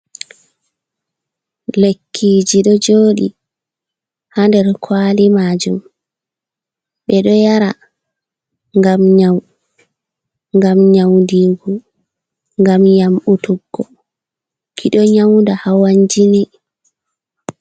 Lekkiji do jodi ha der kwali majum be do yara gam nyaudigu gam yambutuggo ki do nyauda hawanjine.